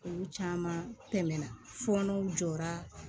Olu caman tɛmɛna fɔɔnɔw jɔra